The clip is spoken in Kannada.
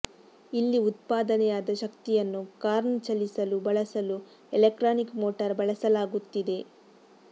ಇಲ್ಲಿ ಉತ್ಪಾದನೆಯಾದ ಶಕ್ತಿಯನ್ನು ಕಾರ್ನ್ನು ಚಲಿಸಲು ಬಳಸಲು ಎಲೆಕ್ಟ್ರಾನಿಕ್ ಮೋಟಾರ್ ಬಳಸಲಾಗುತ್ತಿದೆ